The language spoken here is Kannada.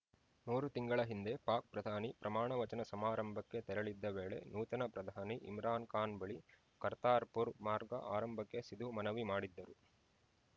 ಮೂರು ತಿಂಗಳ ಹಿಂದೆ ಪಾಕ್‌ ಪ್ರಧಾನಿ ಪ್ರಮಾಣ ವಚನ ಸಮಾರಂಭಕ್ಕೆ ತೆರಳಿದ್ದ ವೇಳೆ ನೂತನ ಪ್ರಧಾನಿ ಇಮ್ರಾನ್‌ ಖಾನ್‌ ಬಳಿ ಕರ್ತಾರ್‌ಪುರ ಮಾರ್ಗ ಆರಂಭಕ್ಕೆ ಸಿಧು ಮನವಿ ಮಾಡಿದ್ದರು